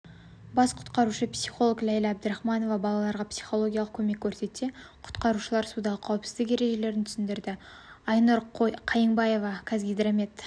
бас құтқарушы-психолог лейла әбдірахманова балаларға психологиялық көмек көрсетсе құтқарушалар судағы қауіпсіздік ережелерін түсіндірді айнұр қайыңбаева қазгидромет